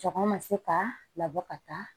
Cɛkɔrɔ ma se ka labɔ ka taa